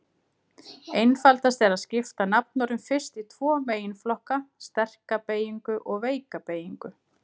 Einfaldast er að skipta nafnorðum fyrst í tvo meginflokka: sterka beygingu og veika beygingu.